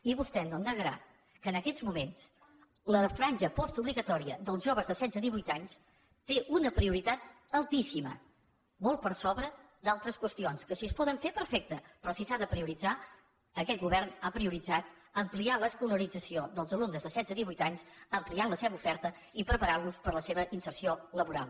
i vostè no em negarà que en aquests moments la franja postobligatòria dels joves de setze a divuit anys té una prioritat altíssima molt per sobre d’altres qüestions que si es poden fer perfecte però si s’ha de prioritzar aquest govern ha prioritzat ampliar l’escolarització dels alumnes de setze a divuit anys ampliant la seva oferta i preparant los per la seva inserció laboral